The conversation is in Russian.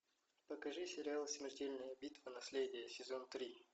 покажи сериал смертельная битва наследие сезон три